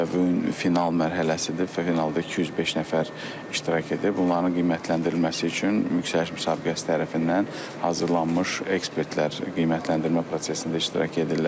Və bu gün final mərhələsidir, finalda 205 nəfər iştirak edib, bunların qiymətləndirilməsi üçün yüksəliş müsabiqəsi tərəfindən hazırlanmış ekspertlər qiymətləndirmə prosesində iştirak edirlər.